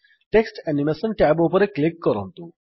text animation tab ଉପରେ click କରନ୍ତୁ